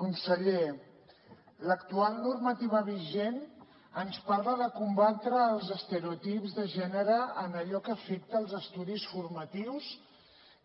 conseller l’actual normativa vigent ens parla de combatre els estereotips de gènere en allò que afecta els estudis formatius